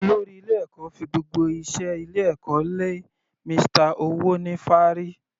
Olórí ilé ẹ̀kọ́ fi gbogbo iṣẹ́ ilé ẹ̀kọ́ lé Mr. Owonifaari.